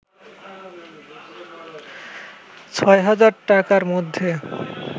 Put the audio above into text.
৬০০০ টাকার মধ্যে